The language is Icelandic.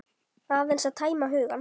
Aðeins að tæma hugann.